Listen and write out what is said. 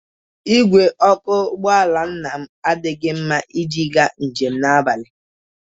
Igwe ọkụ ụgbọala Nnam adịghị mma iji gaa njem na abalị.